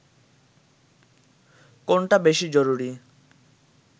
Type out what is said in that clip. কোনটা বেশি জরুরি